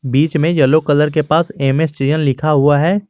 बीच में yellow colour के पास एम_एस चयन लिखा हुआ है।